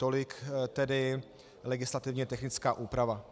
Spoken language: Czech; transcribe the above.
Tolik tedy legislativně technická úprava.